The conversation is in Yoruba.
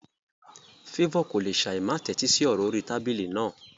Favour kò lè ṣáì má tẹ́tí sí ọ̀rọ̀ orí tábìlì náà.